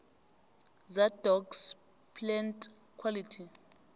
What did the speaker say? za docs plantquality